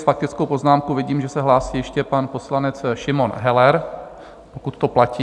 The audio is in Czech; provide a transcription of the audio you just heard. S faktickou poznámkou vidím, že se hlásí ještě pan poslanec Šimon Heller, pokud to platí.